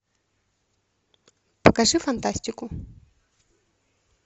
покажи фантастику